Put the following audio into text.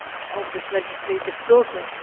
of this legislative process.